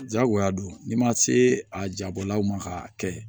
Jagoya don n'i ma se a jabɔlaw ma k'a kɛ